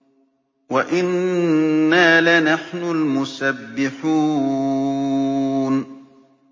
وَإِنَّا لَنَحْنُ الْمُسَبِّحُونَ